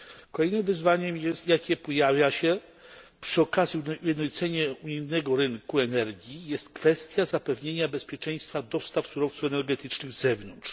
Kolejnym wyzwaniem, jakie pojawia się przy okazji ujednolicenia unijnego rynku energii, jest kwestia zapewnienia bezpieczeństwa dostaw surowców energetycznych z zewnątrz.